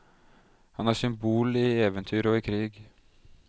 Han er symbol i eventyr og i krig.